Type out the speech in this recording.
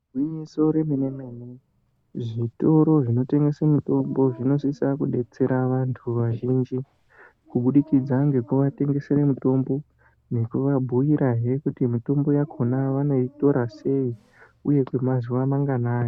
Igwinyiso remene-mene, zvitoro zvinotengese mitombo zvinosisa kudetsera vantu vazhinji , kubudikidza ngekuvatengesere mitombo, ngekuvabhuirahe kuti mitombo yakhona vanoitora sei, uye kwemazuwa manganai.